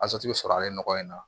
sɔrɔ ale nɔgɔ in na